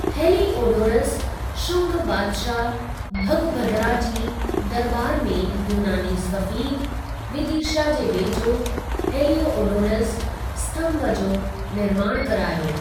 Heliodorus, Shunga बादशाहु भगभदरा जी दरॿार में यूनानी सफ़ीर, विदीशा जे वेझो हेलिओडोरस स्तंभु जो निर्माण करायो।